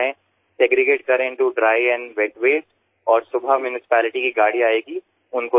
સૂકા અને ભીના કચરામાં અલગ પાડો અને સવારે મહાનગરપાલિકાની ગાડી આવે તેને આપી દો